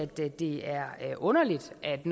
det det er underligt at